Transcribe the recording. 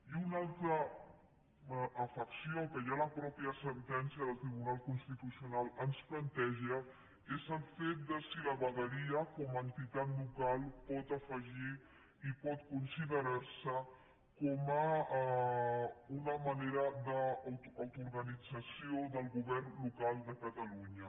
i una altra afecció que ja la mateixa sentència del tribunal constitucional ens planteja és el fet de si la vegueria com a entitat local pot afegir i pot considerar se com una manera d’autoorganització del govern local de catalunya